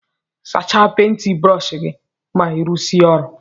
Sacha penti brọsh gi ma irụsie ọrụ.